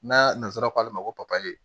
N'a nasara k'ale ma ko papaye